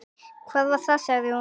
Hvað var það? sagði hún.